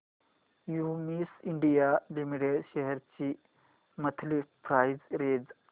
Cummins India limited shares ची monthly price range